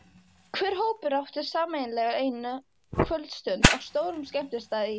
Hver hópur átti sameiginlega eina kvöldstund á stórum skemmtistað í